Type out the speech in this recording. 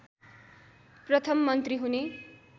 प्रथम मन्त्री हुने